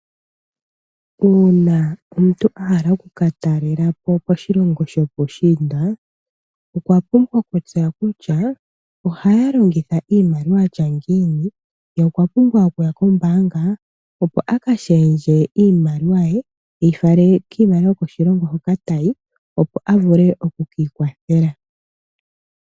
Uuna omuntu a hala oku ka talelapo koshilongo shopuushiinda , okwa pumbwa oku tesya kutya ohaya longitha iimaliwa ya tya ngiini, ye okwa pumbwa oku ya kombaanga opo a ka shendje iimaliwa ye, te yi shendjele miimaliwa yokoshilongo hoka ta yi, opo a vule oku ka ikwathela.